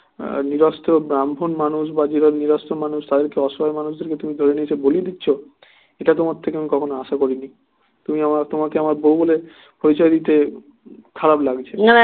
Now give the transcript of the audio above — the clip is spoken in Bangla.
নিরস্ত্র ব্রাহ্মণ মানুষ বা যারা নিরস্ত্র মানুষ তাদেরকে অসহায় মানুষদেরকে তুমি ধরে নিয়েছো বলি দিচ্ছ এটা তোমার থেকে কখনো আশা করি নি তুমি আমার তোমাকে আমার বৌ বলে পরিচয় দিতে খারাপ লাগছে